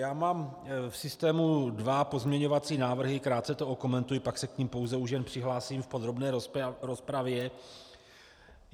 Já mám v systému dva pozměňovací návrhy, krátce to okomentuji, pak se k nim pouze už jen přihlásím v podrobné rozpravě.